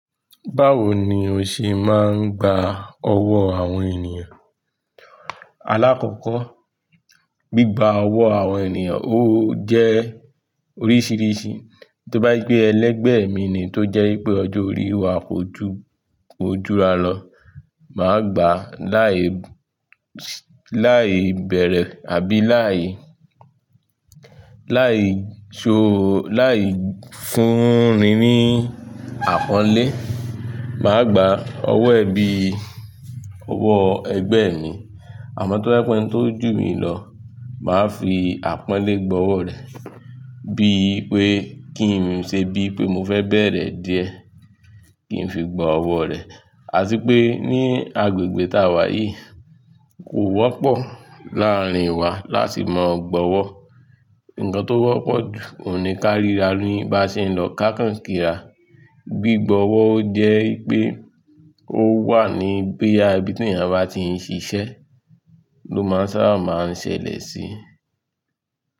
Báwo ni o ṣe máa ń gba ọwọ́ àwọn ènìyàn? Alákọ̀ọ́kọ́, gbígba ọwọ́ àwọn ènìyàn ó jẹ́ oríṣiríṣi. Tóbá je pé ẹlẹgbẹ́ mi ni tó jẹ́ wípé ọjọ́ orí wa kò ju, kò jura lọ, màá gba láì, láì bẹ̀rẹ̀ àbí láì, láì so, láì fúnni ní àpọ́nlé. Màá gba ọwọ́ ẹ bíi ọwọ́ ẹgbẹ́ mi. Àmọ́ tó bá pẹ́ ẹni tó jù mí lọ, màá fi àpọ́nlé gbọ́ ọwọ́ rẹ̀. Bí i pé kí n ṣe bí pé mo fẹ́ bẹ̀rẹ̀ díẹ̀ kí n fi gbọ́ ọwọ́ rẹ̀. Àti pé ní agbègbè táa wà yìí kò wọ́pọ̀ láàárín wa láti máa gbọ́ ọwọ́. Ǹkan tó wọ́pọ̀ jù nì ká ríra ní bá ṣe ń lọ ká kàn kí ra. Gbigbo ọwọ́ ó jẹ́ pé ó wà ní boya ibi tí ènìyàn bá ti ń ṣiṣẹ́ ló máa sábà máa ń ṣẹlẹ̀ sí.